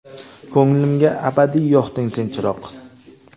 Ko‘nglimga abadiy yoqding sen chiroq.